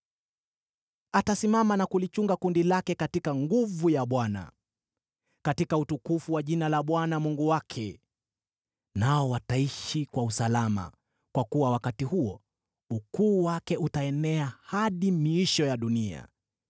Atasimama na kulichunga kundi lake katika nguvu ya Bwana , katika utukufu wa jina la Bwana Mungu wake. Nao wataishi kwa usalama, kwa kuwa wakati huo ukuu wake utaenea hadi miisho ya dunia.